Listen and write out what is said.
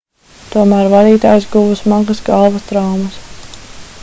tomēr vadītājs guva smagas galvas traumas